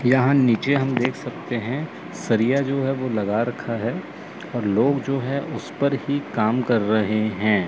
यहां नीचे हम देख सकते है सरिया जो है वो लगा रखा है और लोग जो है उस पर ही काम कर रहे हैं।